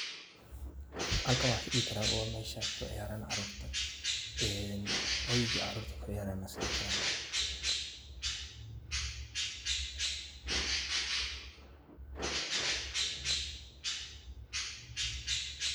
Halkaan waxaan is dihi karaa waa mesha aay kuciyaaran caruurta, ee hoyga caruurta kuciyaaran is dihi karaa.